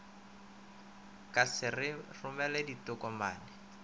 ka se re romele ditokomane